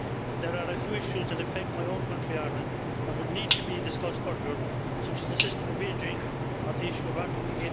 There are a few issues that affect my own country of Ireland, and these would need to be discussed further, such as the system of aging or the issue of Article